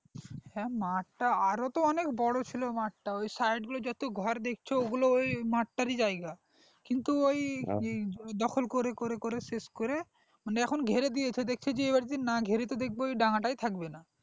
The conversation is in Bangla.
মাঠ তা আরও তো অনেক বড়ো ছিল মাঠ তা ওই side গুলো যত ঘর দেখছো ওগুলো ওই মাঠটা র জায়গা কিন্তু ওই দখল করে করে করেই শেষ করে মানে এখন ঘিরে দিয়েছে দেখছে যে এবার যদি না ঘিরি তো দেখব ওই ডাঙ্গা টাই থাকবে না